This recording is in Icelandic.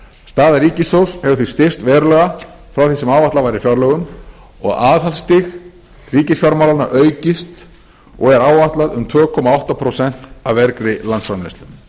staða ríkissjóðs hefur því styrkst verulega frá því sem áætlað var í fjárlögum og aðhaldsstig ríkisfjármálanna aukist og er áætla um tvö komma átta prósent af vergri landsframleiðslu þá vildi ég